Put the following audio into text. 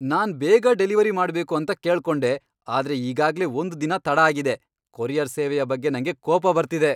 ನಾನ್ ಬೇಗ ಡೆಲಿವರಿ ಮಾಡ್ಬೇಕು ಅಂತ ಕೇಳ್ಕೊಂಡೆ ಆದ್ರೆ ಈಗಾಗ್ಲೇ ಒಂದ್ ದಿನ ತಡ ಆಗಿದೆ.! ಕೊರಿಯರ್ ಸೇವೆಯ ಬಗ್ಗೆ ನಂಗೆ ಕೋಪ ಬರ್ತಿದೆ.